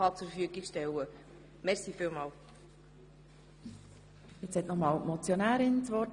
Die Motionärin hat noch einmal das Wort.